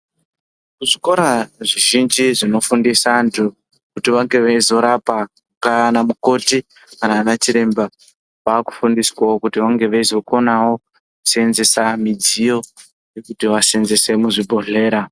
Muzvikora zvizhinji zvinofundisa antu kuti vange veizorapa kana mukoti kana anachiremba vakufundiswawo kuti vange veizokonawo kuseenzesa midziyo yekuti vaseenzese muzvibhodhlera.